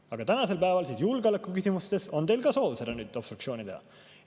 Aga tänasel päeval julgeolekuküsimustes on teil soov seda obstruktsiooni teha.